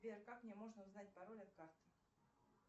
сбер как мне можно узнать пароль от карты